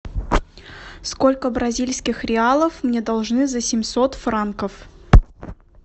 сколько бразильских реалов мне должны за семьсот франков